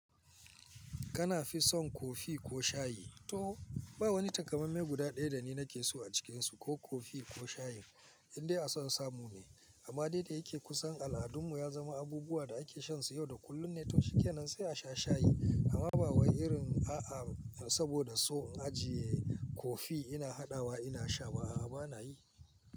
Kana fi son kofi ko shayi? To ba wani takamaime guda daya da ni nake so a cikinsu ko kofi ko shayi, inda a son samu ne amma dai da yake kusan al'adun mu ya zama abubuwa da ake shan su yau da kullum ne. To shikenan sai a sha shayi amma ba wani irin a'a saboda so in ajiye kofi ina hadawa ina sha, a'a bana yi.